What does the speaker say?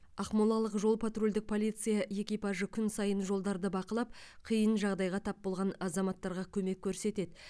ақмолалық жол патрульдік полиция экипажы күн сайын жолдарды бақылап қиынға жағдайға тап болған азаматтарға көмек көрсетеді